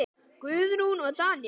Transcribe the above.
Guðrún og Daníel.